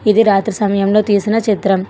ఇది రాత్రి సమయంలో తీసిన చిత్రం.